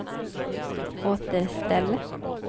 återställ